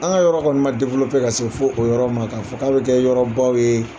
An ka yɔrɔ kɔni ma dewolope ka se fɔ o yɔrɔ ma k'a fɔ k'a bɛ kɛ yɔrɔ baw yee